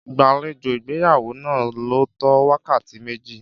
Ìgbàlejò ìgbéyàwó náà lò tó wákàtí méjì.